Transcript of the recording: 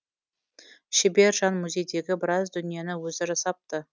шебер жан музейдегі біраз дүниені өзі жасапты